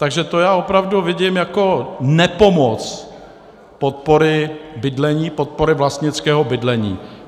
Takže to já opravdu vidím jako nepomoc podpory bydlení, podpory vlastnického bydlení.